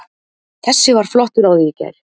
Þessi var flottur á því í gær.